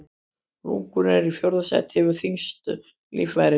Lungun eru í fjórða sæti yfir þyngstu líffærin.